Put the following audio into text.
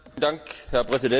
Herr Präsident!